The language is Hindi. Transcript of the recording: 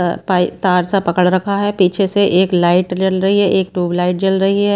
तार सा पकड़ रखा है पीछे से एक लाइट जल रही है एक ट्यूब लाइट जल रही है।